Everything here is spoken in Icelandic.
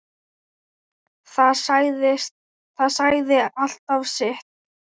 Það sagði alltaf sitt.